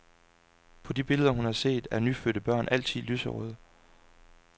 På de billeder, hun har set, er nyfødte børn altid lyserøde.